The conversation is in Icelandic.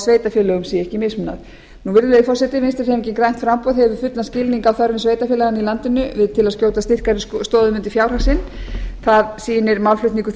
sveitarfélögum sé ekki mismunað virðulegi forseti vinstri hreyfingin grænt framboð hefur fullan skilning á þörfum sveitarfélaganna í landinu til að skjóta styrkari stoðum undir fjárhag sinn það sýnir málflutningur